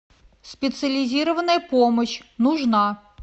специализированная помощь нужна